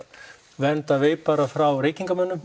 vernda veipara frá reykingamönnum